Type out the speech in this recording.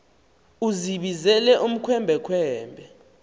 uzibizele ukhwembe khwembe